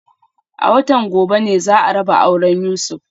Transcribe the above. A watan gobe ne za a raba auren Yusuf